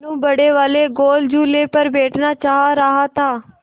मनु बड़े वाले गोल झूले पर बैठना चाह रहा था